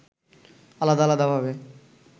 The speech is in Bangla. আলাদা আলাদা ভাবে